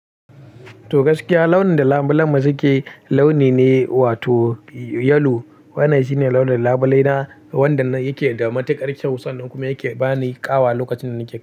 To gaskiya launin da lambulan mu suke launi ne wato yalo. Wannan shine launin labule na wanda na yake da matuƙar kyau sannan kuma yake bani ƙawa lokacin da nake.